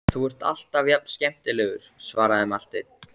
Þú ert alltaf jafn skemmtilegur, svaraði Marteinn.